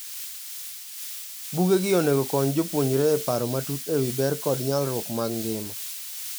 Bugegi onego okony jopuonjre e paro matut ewi ber kod nyalruok mag ngima.